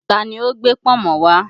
Ta ni ó gbé pọ̀nmọ́ wá?